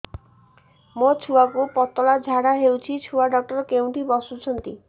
ମୋ ଛୁଆକୁ ପତଳା ଝାଡ଼ା ହେଉଛି ଛୁଆ ଡକ୍ଟର କେଉଁଠି ବସୁଛନ୍ତି